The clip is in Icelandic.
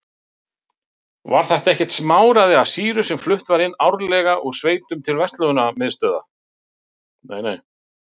Var það ekkert smáræði af sýru sem flutt var árlega úr sveitum til verstöðvanna.